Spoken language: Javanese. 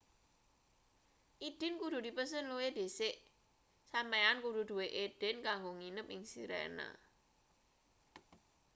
idin kudu dipesen luwih dhisik sampeyan kudu duwe idin kanggo nginep ing sirena